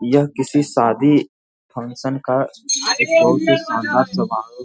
यह किसी शादी फंक्शन का एक बहोत ही शानदार समारोह --